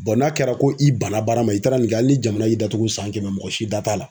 Bɔn n'a kɛra ko i banna baara ma i taara nin kɛ ali ni jamana y'i datugu san kɛmɛ mɔgɔ si da t'a la